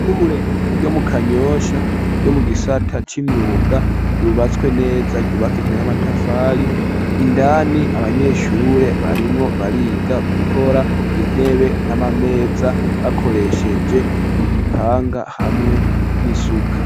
Ishure ryo mu kanyosha ryo mu gisata c'imyuga ryubatswe neza ryubakishijwe n'amatafari, indani abanyeshure barimwo bariga gukora intebe n'amameza bakoresheje igipanga hamwe n'isuka.